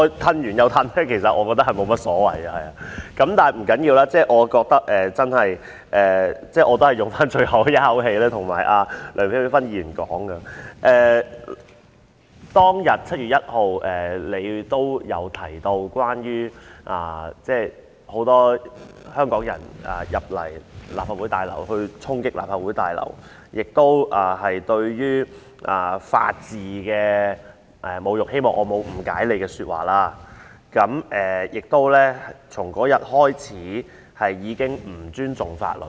不要緊，我認為我仍要以最後一口氣告訴梁美芬議員，就7月1日當天發生的事，她也曾提及有許多香港人進入立法會大樓進行衝擊，那是對法治的侮辱——希望我沒有誤解她的意思——亦是自那天開始，人們已不再尊重法律。